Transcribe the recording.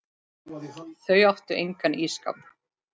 Þau áttu engan ísskáp.